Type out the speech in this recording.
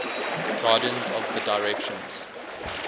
guardians of the directions